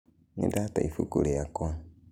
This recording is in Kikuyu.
Nĩndate ĩbũkũ rĩakwa.